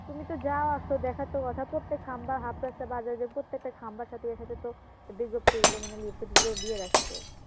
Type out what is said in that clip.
তুমি তো যাও আসো দেখার তো কথা প্রত্যেক খাম্বা প্রত্যেকটা খাম্বার সাথে ইয়ার সাথে তো বিজ্ঞপ্তি গুলো মানে লিফলেট গুলো দিয়ে রাখছে